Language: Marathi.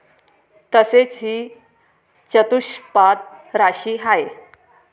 तसेच ही चतुष्पाद राशी आहे